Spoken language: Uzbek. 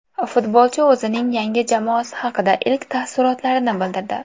Futbolchi o‘zining yangi jamoasi haqida ilk taassurotlarini bildirdi.